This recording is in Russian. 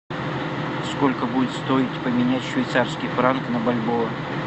сколько будет стоить поменять швейцарский франк на бальбоа